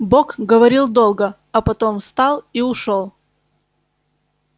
бог говорил долго а потом встал и ушёл